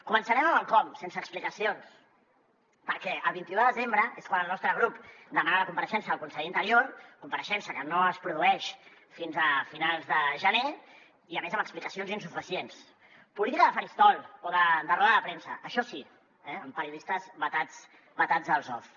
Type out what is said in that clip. començarem amb el com sense explicacions perquè el vint un de desembre és quan el nostre grup demana la compareixença del conseller d’interior compareixença que no es produeix fins a finals de gener i a més amb explicacions insuficients política de faristol o de roda de premsa això sí amb periodistes vetats als off